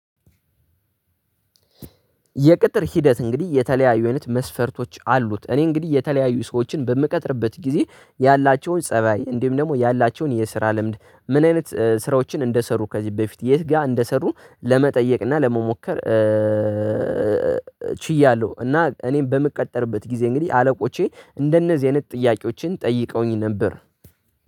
የቅጥር ሂደት እንግዲህ የተለያዩ አይነት መስፈርቶች አሉት። እኔ እንግዲህ የተለያዩ ሰዎችን በምቀጥርበት ጊዜ ያላቸውን ፀባይ እንዲሁም ደግሞ ያላቸውን የስራ ልምድ ምን አይነት ስራዎችን እንደሰሩ ከዚህ በፊት የት ጋር እንደሰሩ ለመጠየቅ እና ለመሞከር። ችያለሁ እና እኔም በምቀጠርበት ጊዜ እንግዲህ አለቆቼ እንደነዚህ አይነት ጥያቄዎችን ጠይቀውኝ ነበር